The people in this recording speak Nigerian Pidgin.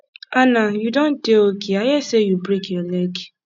anna you don dey okay i hear say you break your leg